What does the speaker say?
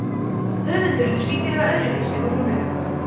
höfundur les lítillega öðruvísi úr rúnunum